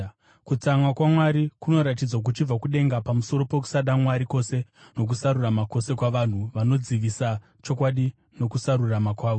Kutsamwa kwaMwari kunoratidzwa kuchibva kudenga pamusoro pokusada Mwari kwose nokusarurama kwose kwavanhu vanodzivisa chokwadi nokusarurama kwavo.